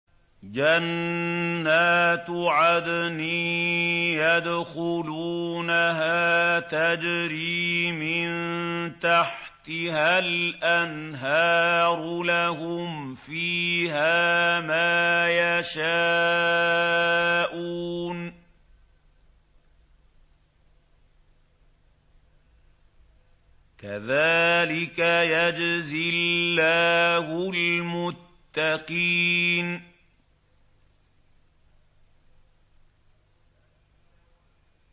جَنَّاتُ عَدْنٍ يَدْخُلُونَهَا تَجْرِي مِن تَحْتِهَا الْأَنْهَارُ ۖ لَهُمْ فِيهَا مَا يَشَاءُونَ ۚ كَذَٰلِكَ يَجْزِي اللَّهُ الْمُتَّقِينَ